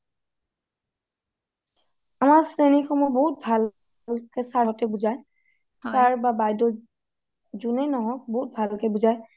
অ শ্ৰেণী সমূহ বহুত ভাল sir হতে বুজাই sir বা বাইদেউ যুনেই নহওঁক বহুত ভালকে বুজাই